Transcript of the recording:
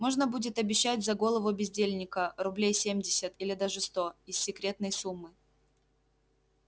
можно будет обещать за голову бездельника рублей семьдесят или даже сто из секретной суммы